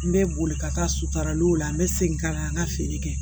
N bɛ boli ka taa sutaaraliw la n bɛ segin ka na n ka feere kɛ